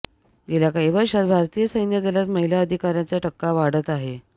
गेल्या काही वर्षांत भारतीय सैन्यदलांत महिला अधिकाऱ्यांचा टक्का वाढत आहे